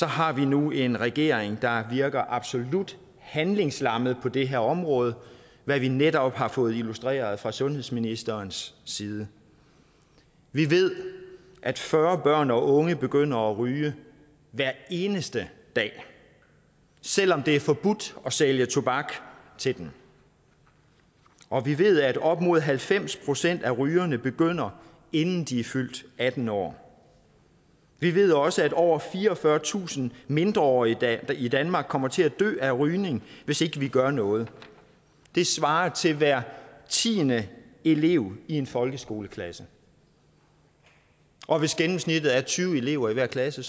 har vi nu en regering der virker absolut handlingslammet på det her område hvad vi netop har fået illustreret fra sundhedsministerens side vi ved at fyrre børn og unge begynder at ryge hver eneste dag selv om det er forbudt at sælge tobak til dem og vi ved at op imod halvfems procent af rygerne begynder inden de er fyldt atten år vi ved også at over fireogfyrretusind mindreårige i danmark kommer til at dø af rygning hvis ikke vi gør noget det svarer til hver tiende elev i en folkeskoleklasse og hvis gennemsnittet er tyve elever i hver klasse